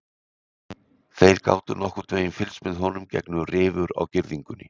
Þeir gátu nokkurn veginn fylgst með honum gegnum rifur á girðingunni.